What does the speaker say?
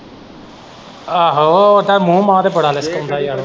ਆਹੋ ਉਹ ਤਾਂ ਮੂੰਹ ਮਾਹ ਤੇ ਬੜਾ ਲਿਸਕਾਉਂਦਾ ਹੈ ਯਾਰ ਉਹ।